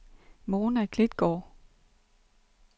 Mona Klitgaard